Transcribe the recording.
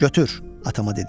Götür, atama dedim.